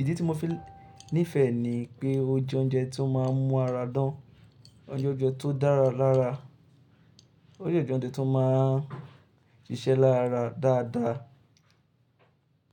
Ìdí tí mo fi níìfẹ̀ ni pé ó jẹ́ oúnjẹ tó máa ń mú ara dán. Ó jẹ oúnjẹ tó dára lára. Ó dẹ oúnjẹ tó máa ń ṣíṣe lára dáadáa.